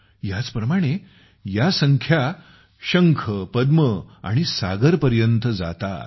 ह्याच प्रमाणे ह्या संख्या शंख पद्म आणि सागर पर्यंत जातात